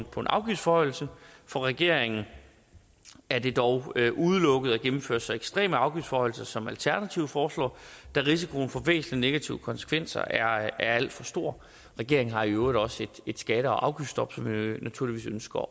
på en afgiftsforhøjelse for regeringen er det dog udelukket at gennemføre så ekstreme afgiftsforhøjelser som alternativet foreslår da risikoen for væsentlige negative konsekvenser er alt for stor regeringen har i øvrigt også et skatte og afgiftsstop som vi naturligvis ønsker